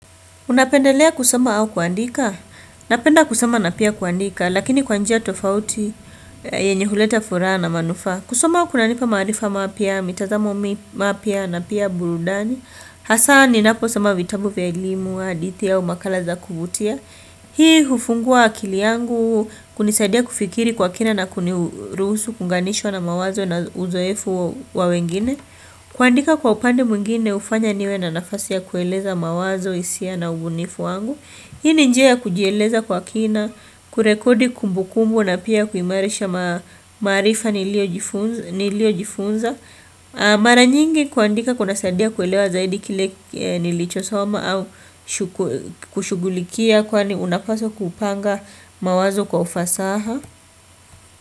Unapendelea kusoma au kuandika? Napenda kusoma na pia kuandika lakini kwa njia tofauti yenye huleta furaha na manufaa. Kusoma kunanipa maarifa mapya, mitazamo mapya na pia burudani. Hasaa ninapo soma vitabu vya elimu hadithi au makala za kuvutia. Hii hufungua akili yangu kunisadia kufikiri kwa kina na kunirusuhu kuunganishwa na mawazo na uzoefu wa wengine. Kuandika kwa upande mwingine hufanya niwe na nafasi ya kueleza mawazo hisia na ubunifu wangu. Hii ni njia ya kujieleza kwa kina kurekodi kumbukumbu na pia kuimarisha maarifa niliojifunza niliojifunza. Mara nyingi kuandika kuna saidia kulewa zaidi kile nilichosoma au kushughulikia kwani unapaswa kupanga mawazo kwa ufasaha.